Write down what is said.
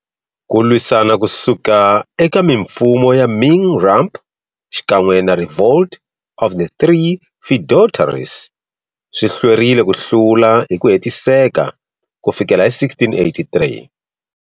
Ku lwisana kusuka eka mimfumo ya Ming rump xikan'we na Revolt of the Three Feudatories swi hlwerile ku hlula hiku hetiseka kufikela hi 1683.